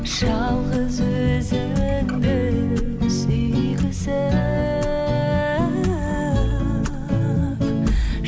жалғыз өзіңді сүйгізіп